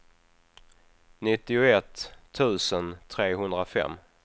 nittioett tusen trehundrafem